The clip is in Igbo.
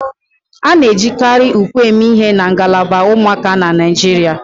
A na-ejikarị ùkwè eme ihe na ngalaba ụmụaka na Naịjirịa